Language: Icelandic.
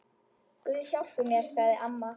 Guð hjálpi mér, sagði amma.